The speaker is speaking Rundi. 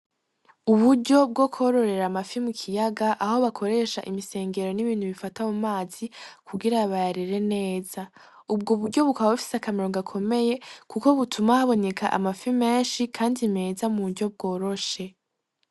Uburyo bwo kororera amafi mu kiyaga aho bakoresha imisengero n'ibintu bifata mu mazi kugira bayarere neza, ubwo buryo bukaba bufise akamaro gakomeye kuko butuma haboneka amafi menshi kandi meza mu buryo bworoshe.